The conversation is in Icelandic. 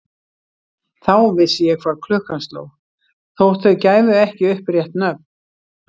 Þá vissi ég hvað klukkan sló, þótt þau gæfu ekki upp rétt nöfn.